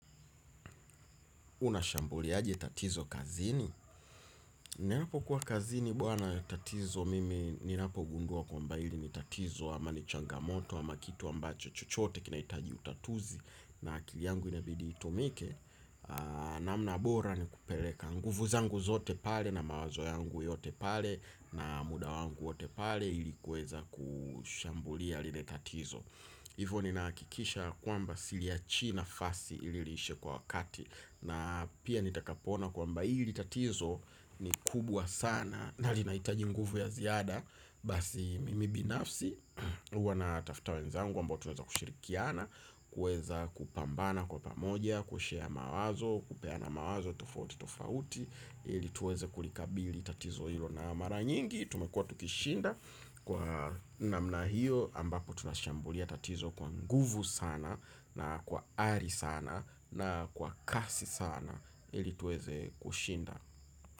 Unashambuliaje tatizo kazini? Ninapokuwa kazini bwana tatizo mimi ninapo gundua kwamba ili ni tatizo ama ni changamoto. Ama kitu ambacho chochote kinaitaji utatuzi. Na akili yangu inabidi itumike. Namna bora ni kupeleka nguvu zangu zote pale. Na mawazo yangu yote pale. Na muda wangu wote pale ili kuweza kushambulia lile tatizo. Hivyo ninahakikisha kwamba siliachii nafasi ili liishe kwa wakati. Na pia nitakapoona kwamba hili tatizo ni kubwa sana. Nalinaitaji nguvu ya ziada. Basi mimi binafsi huwa natafta wenzangu ambao tunaweza kushirikiana, kuweza kupambana kwa pamoja, Kushare mawazo, kupeana mawazo, tofauti, tofauti ili tuweze kulikabili tatizo hilo na mara nyingi tumekuwa tukishinda. Kwa namna hiyo ambapo tunashambulia tatizo kwa nguvu sana na kwa ari sana na kwa kasi sana ili tuweze kushinda.